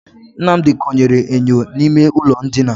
Nnamdi konyere enyo n'ime ụlọ ndina.